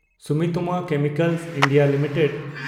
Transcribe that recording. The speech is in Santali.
Sumitomo chemical India limited